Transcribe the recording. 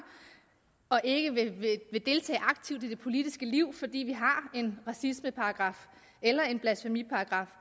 og ikke vil deltage aktivt i det politiske liv fordi vi har en racismeparagraf eller en blasfemiparagraf